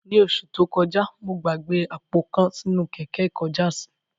Ní oṣù tó kojá, mo gbàgbé àpò kan sínú kẹ̀kẹ́ ikojásí